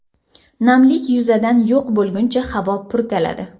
Namlik yuzadan yo‘q bo‘lguncha havo purkaladi.